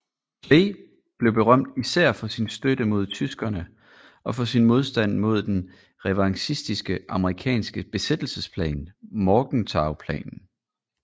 Clay blev berømt især for sin støtte til tyskerne og for sin modstand mod den revanchistiske amerikanske besættelsesplan Morgenthauplanen